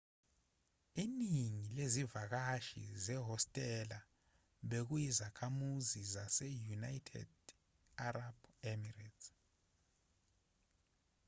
iningi lezivakashi zehostela bekuyizakhamuzi zase-united arab emirates